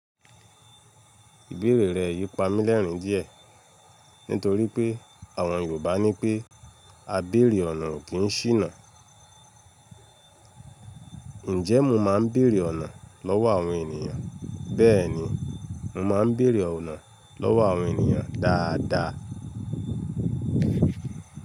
Ìbéèrè rẹ̀ yí pamọ́ lẹ́rìń díẹ̀ nítorí pé àwọn Yorùbá ní pé “A béèrè ọ̀nà ò kí ń ṣìnà”. Ǹjẹ́ mo máa ń béèrè ọ̀nà lọ́wọ́ àwọn ènìyàn? Bẹ́ẹ̀ni, mo máa ń béèrè ọ̀nà lọ́wọ́ àwọn ènìyàn dáadáa.